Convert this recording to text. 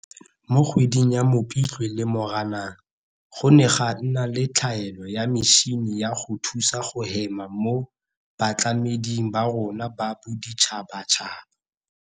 Mo kgweding ya Mopitlwe le Moranang, go ne ga nna le tlhaelo ya metšhini ya go thusa go hema mo batlameding ba rona ba boditšhabatšhaba.